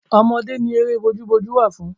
Ọmọdé ni eré bójú bójú wà fún.